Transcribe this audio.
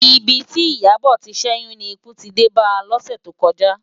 Ibi ti Iyabo ti n ṣèyún ni ikú ti dé bá lòsè tókòjá